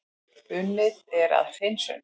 Unnið er að hreinsun